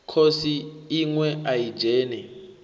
khosi iṋwe a i dzheni